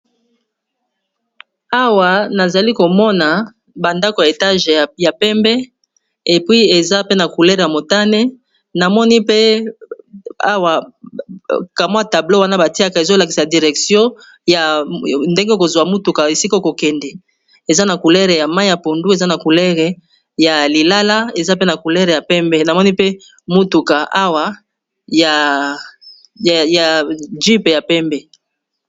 awa nazali komona bandako ya etage ya pembe epui eza pe na coulere ya motane namoni pe awa kamwa tablo wana batiaka ezolakisa direction ndenge kozwa mutuka esika kokende eza na coulere ya mai ya pondu eza na culere ya lilala eza pe na coulere yapembenamoni pe mutuka awa ya jupe ya pembe